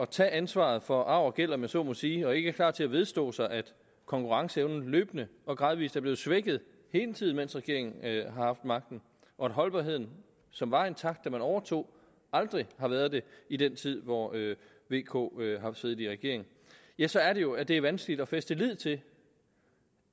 tage ansvaret for arv og gæld om jeg så må sige og ikke er klar til at vedstå sig at konkurrenceevnen løbende og gradvis er blevet svækket hele tiden mens regeringen har haft magten og at holdbarheden som var intakt da man overtog aldrig har været det i den tid hvor vk har siddet i regering ja så er det jo at det er vanskeligt at fæste lid til